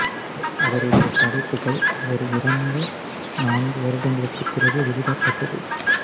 அவருடைய படைப்புகள் அவர் இறந்து நான்கு வருடங்களுக்குப் பிறகே வெளியிடப்பட்டது